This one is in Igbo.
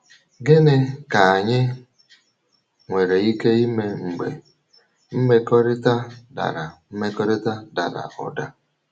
Gịnị um ka anyị nwere ike ime mgbe um mmekọrịta dara mmekọrịta dara ụda?